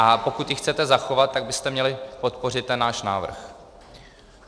A pokud ji chcete zachovat, tak byste měli podpořit ten náš návrh.